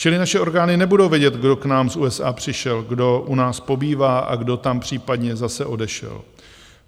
Čili naše orgány nebudou vědět, kdo k nám z USA přišel, kdo u nás pobývá a kdo tam případně zase odešel.